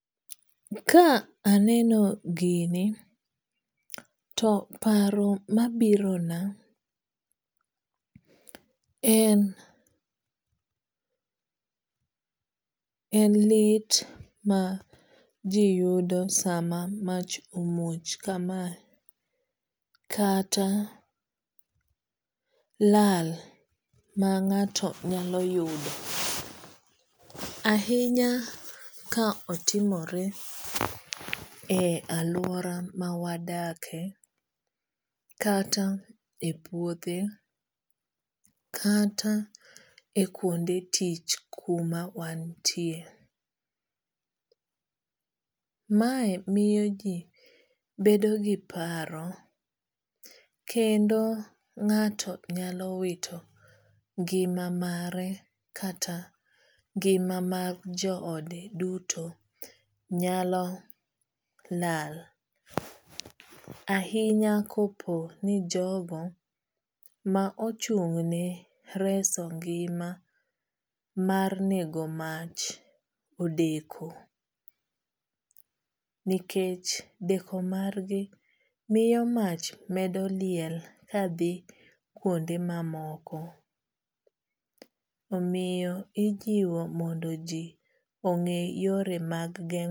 Ka aneno gini to paro mabirona en en lit maji yudo sama mach omuoch kamae kata lal ma ng'ato nyalo yudo ahinya ka otimore e aluora mawadakie kata e puothe kata kuonde tich kuma wantie. Mae miyo ji bedo gi paro kendo ng'ato nyalo wito ngima mare kata ngima mag joode duto nyalo lal ahinya kopo ni jogo ma ochung' ne reso ngima mar nego mach odeko nikech deko margi miyo mach medo liel kadhi kuonde mamoko. Omiyo ijiwo mondo ji ong'e yore mag geng'